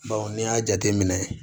n'i y'a jateminɛ